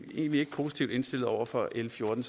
egentlig ikke positivt indstillet over for l fjorten